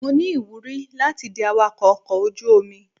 Mo ní ìwúrí láti di awakọ́ ọkọ̀ ojú omi.